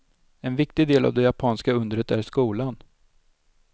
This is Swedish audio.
En viktig del av det japanska undret är skolan.